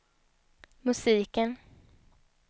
musiken